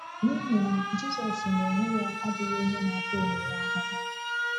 N'ihi na, Jizọs n’onwe ya abụghị onye na-ata onwe ya ahụhụ.